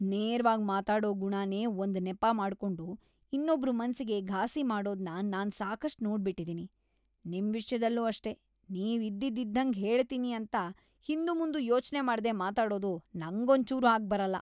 ನೇರವಾಗ್‌ ಮಾತಾಡೋ ಗುಣನೇ ಒಂದ್‌ ನೆಪ ಮಾಡ್ಕೊಂಡು ಇನ್ನೊಬ್ರ್‌ ಮನ್ಸಿಗೆ ಘಾಸಿ ಮಾಡೋದ್ನ ನಾನ್‌ ಸಾಕಷ್ಟ್‌ ನೋಡ್ಬಿಟಿದೀನಿ, ನಿಮ್‌ ವಿಷ್ಯದಲ್ಲೂ ಅಷ್ಟೇ.. ನೀವು ಇದ್ದಿದ್ ಇದ್ದಂಗೆ ಹೇಳ್ತೀನಿ ಅಂತ ಹಿಂದುಮುಂದು ಯೋಚ್ನೆ ಮಾಡ್ದೇ ಮಾತಾಡೋದು ನಂಗೊಂಚೂರೂ ಆಗ್ಬರಲ್ಲ.